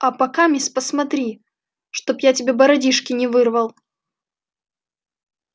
а пока мисс посмотри чтоб я тебе бородишки не вырвал